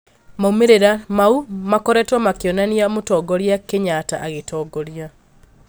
Maumĩrĩra maũ makoretwo makĩonania mũtongoria Kenyatta agĩtongoria